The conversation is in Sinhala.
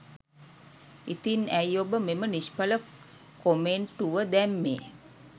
ඉතින් ඇයි ඔබ මෙම නිශ්ඵල කොමෙන්‍ටුව දැම්මේ?